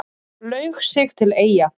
Laug sig til Eyja